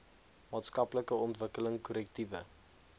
maatskaplike ontwikkeling korrektiewe